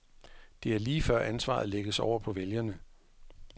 Det er lige før ansvaret lægges over på vælgerne.